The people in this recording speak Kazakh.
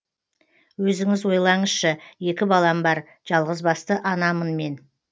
өзіңіз ойлаңызшы екі балам бар жалғызбасты анамын мен